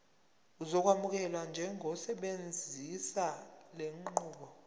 uzokwamukelwa njengosebenzisa lenqubo